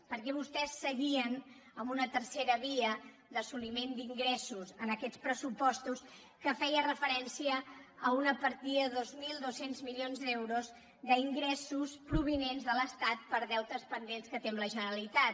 perquè vostès seguien amb una tercera via d’assoliment d’ingressos en aquests pressupostos que feia referència a una partida de dos mil dos cents milions d’euros d’ingressos provinents de l’estat per deutes pendents que té amb la generalitat